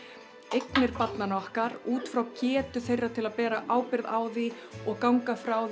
eignir barnanna okkar útfrá getu þeirra til að bera ábyrgð á því og ganga frá